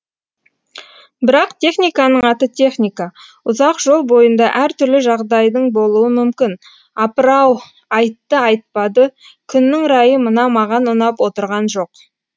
бірақ техниканың аты техника ұзақ жол бойында әр түрлі жағдайдың болуы мүмкін апыр ау айтты айтпады күннің райы мына маған ұнап отырған жоқ